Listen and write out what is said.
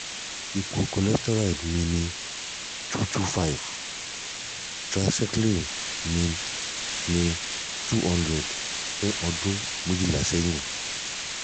ipo ipo cholesterol mi ni 225 triglyceride mi ni 200 for ọdún méjìlá sẹ́yìn